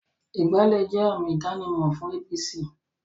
Ìgbálẹ́ jẹ́ àmì ìdánimọ̀ fún APC